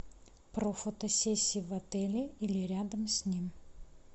про фотосессии в отеле или рядом с ним